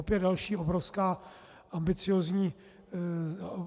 Opět další obrovský, ambiciózní závazek.